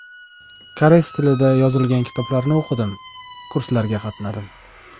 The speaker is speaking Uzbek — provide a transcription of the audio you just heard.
Koreys tilida yozilgan kitoblarni o‘qidim, kurslarga qatnadim.